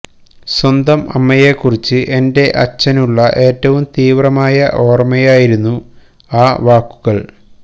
സ്വന്തം അമ്മയെ കുറിച്ച് എന്റെ അച്ഛനുള്ള ഏറ്റവും തീവ്രമായ ഓര്മയായിരുന്നു ആ വാക്കുകള്